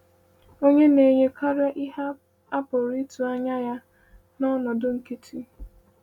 “Ọ na-enye karịa ihe a pụrụ ịtụ anya ya n’ọnọdụ nkịtị.”